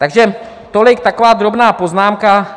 Takže tolik taková drobná poznámka.